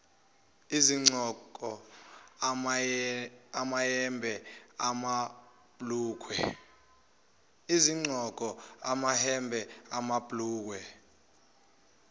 izigqoko amayembe amabhlukwe